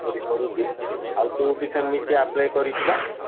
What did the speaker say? ପଢି କରୁଚି। ଆଉ ତୁ ବି ସେମିତି apply କରିଚୁ ବା?